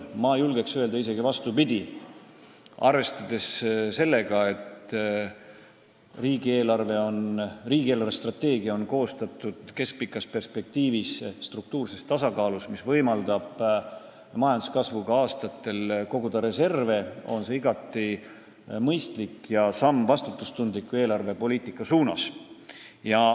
Mina julgeks öelda isegi vastupidi: arvestades seda, et riigi eelarvestrateegia on keskpikas perspektiivis koostatud struktuurses tasakaalus, mis võimaldab majanduskasvuga aastatel reserve koguda, on see igati mõistlik samm vastutustundliku eelarvepoliitika suunas.